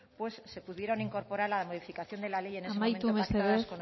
pues se pudieron incorporar en la modificación de la ley en ese momento pactadas con ustedes